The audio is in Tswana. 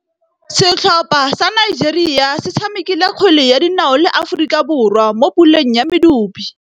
Setlhopha sa Nigeria se tshamekile kgwele ya dinaô le Aforika Borwa mo puleng ya medupe.